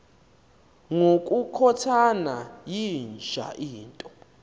ngokukhothana yinja into